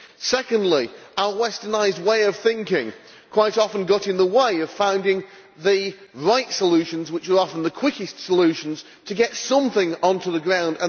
Secondly, our westernised way of thinking quite often got in the way of finding the right solutions, which are often the quickest solutions to get something onto the ground.